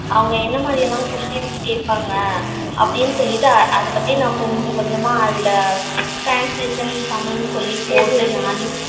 அவங்க என்ன மாதிரிலாம் questions கேப்பாங்க அப்படினு சொல்லிட்டு அத பத்தினா கொஞ்ச கொஞ்சமா அதுல translation tamil சொல்லி கேப்பேன்